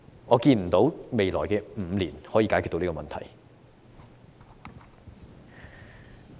我看不到未來5年可以解決這個問題。